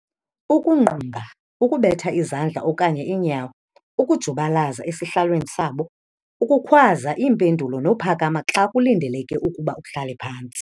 Ukungqunga, ukubetha izandla okanye iinyawo, ukujubalaza esihlalweni sabo, ukukhwaza iimpendulo nophakama xa kulindeleke ukuba uhlale phantsi.